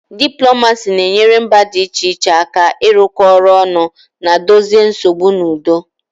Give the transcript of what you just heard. Diplomacy na-enyere mba dị iche iche aka ịrụkọ ọrụ ọnụ na dozie nsogbu n'udo